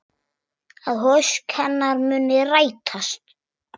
Að ósk hennar muni rætast.